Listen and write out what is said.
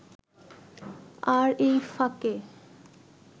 আর এই ফাঁকে